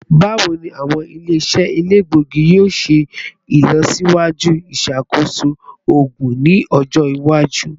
Bawo ni awọn ile-iṣẹ elegbogi yoo ṣe ilọsiwaju iṣakoso oogun ni ọjọ iwaju?